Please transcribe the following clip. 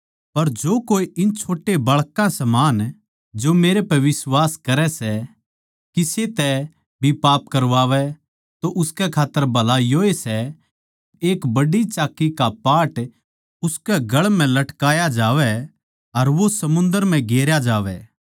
पर जो कोए इन छोट्या बाळकां समान जो मेरै पै बिश्वास करै सै किसे तै भी पाप करवावै तो उसकै खात्तर भला योए सै के एक बड्डी चाक्की का पाट उसकै गळ म्ह लटकाया जावै अर वो समुंदर म्ह गेरया जावै